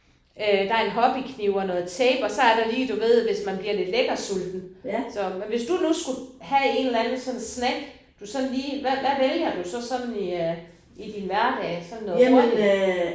Øh der er en hobbykniv og noget tape og så er der lige du ved hvis man bliver lidt lækkersulten. Så men hvis du nu skulle have en eller anden sådan snack du sådan lige hvad hvad vælger du så sådan i øh i din hverdag sådan noget hurtigt